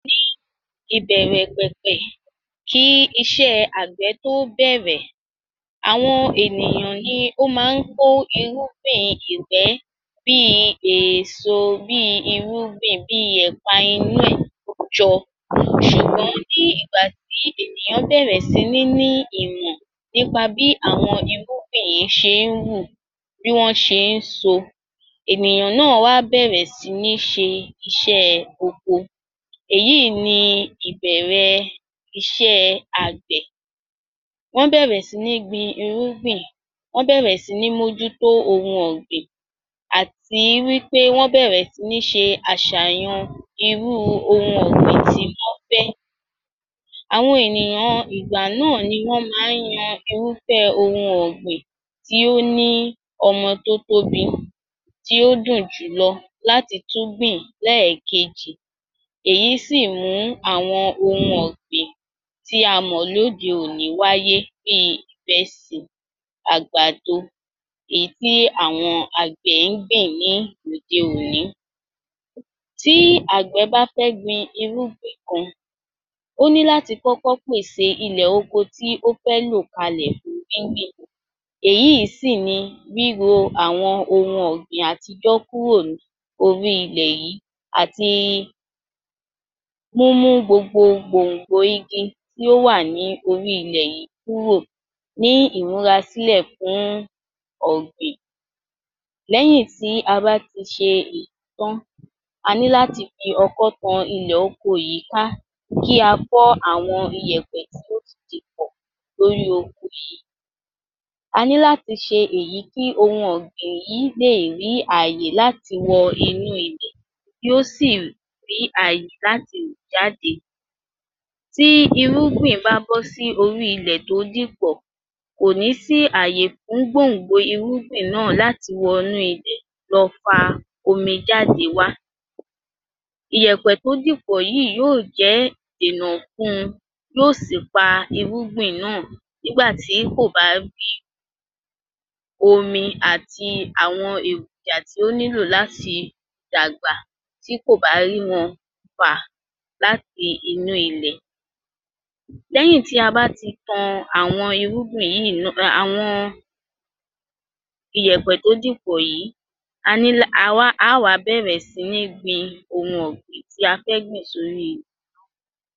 Ní ìbẹ̀rẹ̀ pẹ̀pẹ̀ kí iṣẹ́ àgbẹ̀ tó bẹ̀rẹ̀ àwọn ènìyàn ní ó máa ń kó irúgbìn ìgbẹ́ bí èso, bí irúgbìn, bí ẹ̀pa inú rẹ jọ. Ṣùgbọ́n ní ìgbà tí ènìyàn bẹ̀rẹ̀ sí ní ìmọ̀ nípa bí àwọn irúgbìn yẹn ṣe ń wù, bí wọ́n ṣe ń so. Ènìyàn náà wá bẹ̀rẹ̀ sí ní ṣe iṣẹ́ oko. Èyí ní Ìbẹ̀rẹ̀ ìṣe àgbè. Wọ́n bẹ̀rẹ̀ sí ní gbin irúgbìn, wọn bẹ̀rẹ̀ sí ní mójútó ohun ọ̀gbìn àti wí pé wọ́n bẹ̀rẹ̀ sí ní ṣe àṣàyàn irú ohun ọ̀gbìn tí wọn fẹ́. Àwọn ènìyàn ìgbà náà ni wọn máa yan irúfẹ́ ohun ọ̀gbìn tó ní ọmọ tó tóbi, tí ó dùn jù lọ láti tún gbìn lẹ́ẹ̀kejì. Èyí sí mú àwọn ohun ọ̀gbìn tí a mọ̀ ní òde-òní wáyé bí ìrẹsì, àgbàdo, èyí tí àwọn àgbẹ̀ gbìn lóde-òní. Tí Àgbẹ̀ bá fẹ́ gbin irúgbìn kan, ó ní láti kókó pèsè ilẹ̀ oko tí ó fẹ́ lò kalẹ̀ fún gbín gbìn. Èyí sì ni wíwò àwọn ohun ọ̀gbìn àti yọ́ kúrò lórí ilẹ̀ yìí àti mú mú gbogbo gbòǹgbò igi tí ó wà ní órí ilẹ̀ yìí kúrò ní ìmúra sílẹ̀ fún ọ̀gbìn. Lẹ́yìn tí a bá ti ṣe èyí tán, a ní láti fi oko tan ilẹ̀ oko yìí ká, kí a fọ́ àwọn iyẹ̀pẹ̀ tí ó ti dìpọ̀ lórí oko yìí. A ní láti ṣe èyí kí ohun ọ̀gbìn yìí lè rí àyè láti wọ inú ilẹ̀, kí o sì rí àyè láti wù jáde. Tí irúgbìn bá bọ́ sí orí ilẹ̀ tó dìpọ̀, kò ní sí àyè fún gbòǹgbò irúgbìn náà láti wọnú ilẹ̀ láti lọ fa omi jáde wá. Iyẹ̀pẹ̀ tó dì pọ̀ yìí yóò jẹ́ ìnàkun yóò sí pa irúgbìn náà nígbà tí kò bá rí omi àti àwọn èròjà tí ó nílò láti dàgbà tí kò bá rí wọn fà láti inú ilẹ̀. Lẹ́yìn tí a bá ti tan àwọn irúgbìn yìí, àwọn iyẹ̀pẹ̀ tó dì pọ̀ yìí a ní, a wa, a wá bẹ̀rẹ̀ sí ní gbin àwọn ohun ọ̀gbìn tí a fẹ́ gbìn sórí.